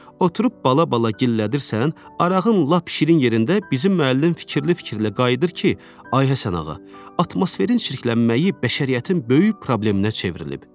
Oturub bala-bala gillədirsən, arağın lap şirin yerində bizim müəllim fikirli-fikirli qayıdır ki, ay Həsənağa, atmosferin çirklənməyi bəşəriyyətin böyük probleminə çevrilib.